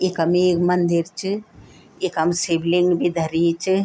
इखम एक मंदिर च इखम एक शिवलिंग भी धरीं च।